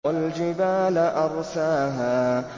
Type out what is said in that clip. وَالْجِبَالَ أَرْسَاهَا